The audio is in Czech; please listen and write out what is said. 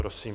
Prosím.